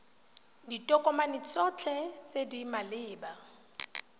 ditokomane tsotlhe tse di maleba